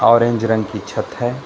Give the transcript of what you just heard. Orange रंग की छत है।